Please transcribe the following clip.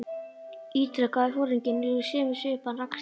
ítrekaði foringinn og í sömu svipan rakst ég á hann.